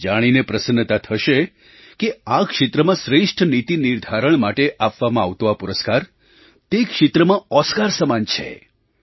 તમને જાણીને પ્રસન્નતા થશે કે આ ક્ષેત્રમાં શ્રેષ્ઠ નીતિ નિર્ધારણ માટે આપવામાં આવતો આ પુરસ્કાર તે ક્ષેત્રમાં ઓસ્કાર સમાન છે